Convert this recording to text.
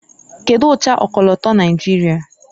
kedu ụcha ọkọlọtọ Naijiria